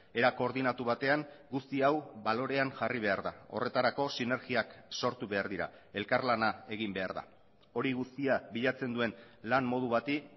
era koordinatu batean guzti hau balorean jarri behar da horretarako sinergiak sortu behar dira elkarlana egin behar da hori guztia bilatzen duen lan modu bati